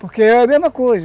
Porque é a mesma coisa.